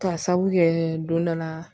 K'a sabu kɛ don dɔ la